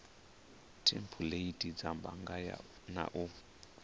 thempuleithi dza bannga na u